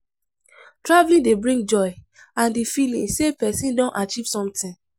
Traveling dey bring joy and the feeling sey person don achieve sometin